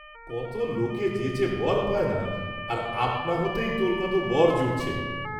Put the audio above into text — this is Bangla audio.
কত লোকে যেচে বর পায় না আর আপনা হতেই তোর কত বর জুটছে!